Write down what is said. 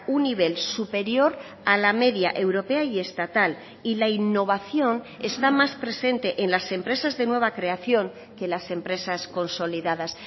un nivel superior a la media europea y estatal y la innovación está más presente en las empresas de nueva creación que las empresas consolidadas